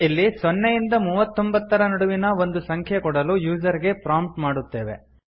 ಇಲ್ಲಿ ಸೊನ್ನೆಯಿಂದ ಮೂವತ್ತೊಂಭತ್ತರ ನಡುವಿನ ಒಂದು ಸಂಖ್ಯೆ ಕೊಡಲು ಯೂಸರ್ ಗೆ ಪ್ರಾಂಪ್ಟ್ ಮಾಡುತ್ತೇವೆ